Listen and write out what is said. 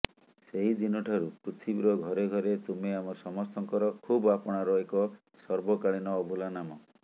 ସେହିଦିନଠାରୁ ପୃଥିବୀର ଘରେ ଘରେ ତୁମେ ଆମ ସମସ୍ତଙ୍କର ଖୁବ୍ ଆପଣାର ଏକ ସର୍ବକାଳୀନ ଅଭୁଲା ନାମ